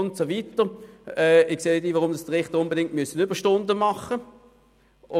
Ich sehe nicht ein, warum Richter unbedingt Überstunden machen müssen.